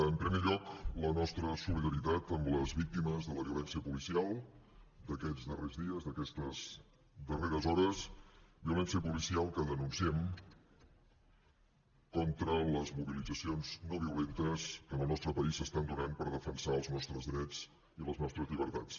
en primer lloc la nostra solidaritat amb les víctimes de la violència policial d’aquests darrers dies d’aquestes darreres hores violència policial que denunciem contra les mobilitzacions no violentes que en el nostre país s’estan donant per defensar els nostres drets i les nostres llibertats